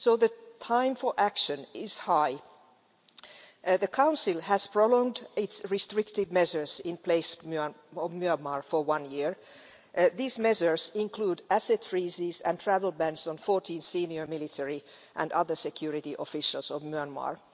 So it is high time for action. The Council has prolonged its restrictive measures in place in Myanmar for one year. These measures include asset freezes and travel bans on 14 senior military and other security officials of Myanmar.